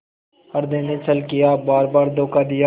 हृदय ने छल किया बारबार धोखा दिया